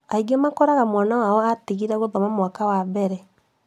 Angĩ magakora mwana wao atigire gĩthomo mwaka wa mbere